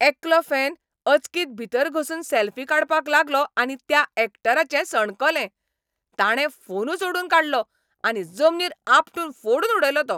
एकलो फॅन अचकीत भीतर घुसून सॅल्फी काडपाक लागलो आनी त्या यॅक्टराचें सणकलें. ताणें फोनूच ओडून काडलो आनी जमनीर आपटून फोडून उडयलो तो.